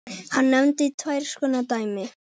Hann nefnir tvenns konar dæmi